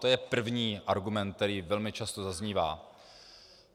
To je první argument, který velmi často zaznívá.